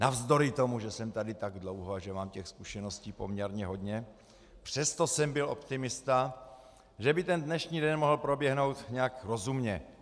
Navzdory tomu, že jsem tady tak dlouho a že mám těch zkušeností poměrně hodně, přesto jsem byl optimista, že by ten dnešní den mohl proběhnout nějak rozumně.